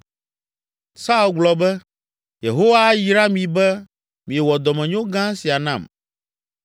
Saul gblɔ be, “Yehowa ayra mi be miewɔ dɔmenyo gã sia nam!